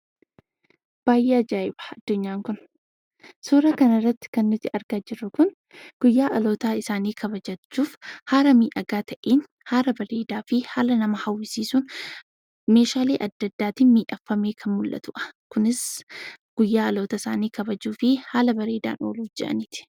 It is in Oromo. Baay'ee ajaa'iba addunyaan kun! Suura kanarratti kan nuti argaa jirru kun guyyaa dhalootaa isaanii kabajachuuf haala miidhagaa ta'een, haala bareedaa fi haala nama hawwisiisuun meeshaale adda addaatiin miidhagfamee kan mul'atu'a. Kunis guyyaa dhaloota isaanii kabajuu fi haala bareedaan ooluuf je'aniiti.